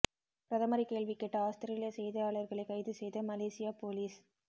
பிரதமரை கேள்வி கேட்ட ஆஸ்திரேலியா செய்தியாளர்களை கைது செய்த மலேசியா போலீஸ்